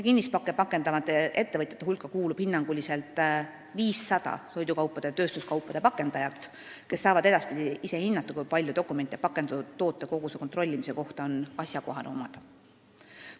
Kinnispakke pakendavate ettevõtjate hulka kuulub hinnanguliselt 500 toidukaupade ja tööstuskaupade pakendajat, kes saavad edaspidi ise otsustada, kui palju dokumente pakendatud tootekoguse kontrollimise kohta on asjakohane omada.